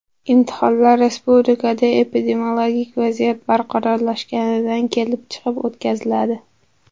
Imtihonlar respublikada epidemiologik vaziyat barqarorlashishidan kelib chiqib o‘tkaziladi.